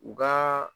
U ka